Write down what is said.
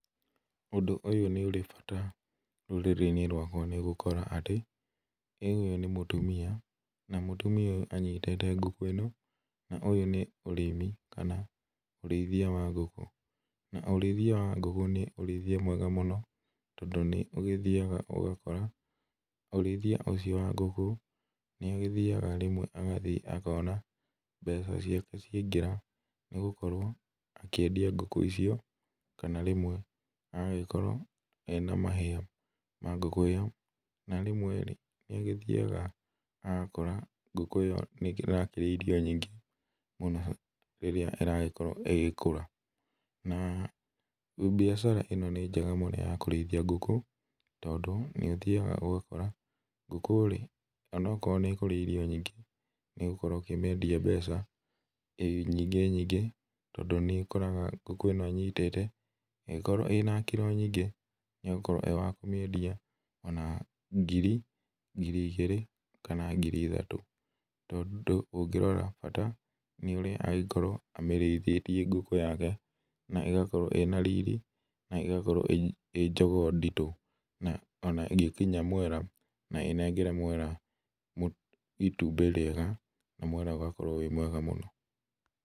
Ũndũ ũyũ nĩ ũrĩ bata rũrĩrĩ-inĩ rwaka nĩgũkora atĩ, rĩu ũyũ nĩ mũtumia, na mũtumia ũyũ anyitĩte ngũkũ ĩno, na ũyũ nĩ ũrĩmi kana ũrĩithia wa ngũkũ, na ũrĩithia wa ngũkũ nĩ ũrĩithia mwega mũno, tondũ nĩ ũgĩthiaga ũgakora mũrĩithia ũcio wa ngũkũ, nĩ agĩthiaga rĩmwe agathiĩ akona mbeca ciake ciaingĩra, nĩgũkorwo akĩendia ngũkũ icio, kana rĩmwe agagĩkorwo ena mahĩa ma ngũkũ ĩyo, na rĩmwe nĩ agĩthiaga agakora ngũkũ ĩyo nĩ ĩrakĩrĩa irio nyingĩ mũno, rĩrĩa ĩrakorwo ĩgĩkũra, na biacara ĩno nĩ njega mũno ya kũrĩithia ngũkũ, tondũ nĩ ũthiaga ũgakora, ngũkũ rĩ ona akorwo nĩ ĩkũrĩa irio nyingĩ, nĩ ũgũkorwo ũkĩmĩendia mbeca nyingĩ nyingĩ, tondũ nĩ ũkoraga ngũkũ anyitĩte ĩngĩkoragwo ĩna kĩro nyingĩ, nĩ agũkorwo wakũmĩendia na ngiri, ngiri igĩrĩ, kana ngiri ithatũ, tondũ ũngĩrora bata nĩ ũrĩa angĩkorwo amĩrĩithĩtie ngũkũ yake, na ĩgakorwo ĩna riri, na ĩgakorwo ĩ jogoo nditũ , na ona ĩngĩkinya mwera, na ĩnengere mwera itumbĩ rĩega, na mwera ũgakorwo wĩ mwega mũno.